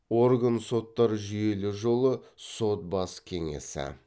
орган соттар жүйелі жолы сот бас кеңесі